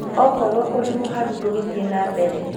okorwo ũrĩ mũharu ndũgĩthie na mbere